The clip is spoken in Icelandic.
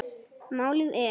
Málið er